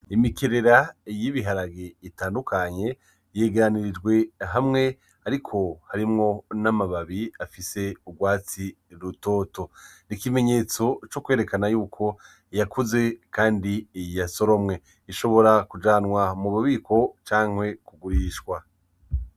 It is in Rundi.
Imikerera y' ibiharage bitandukanye yegeranijwe hamwe ariko harimwo n'amababi afise urwatsi rutoto, ikimenyetso co kwerekana yuko yakuze kandi yasoromwe ashobora kujanwa mu bubiko canke kugurishwa.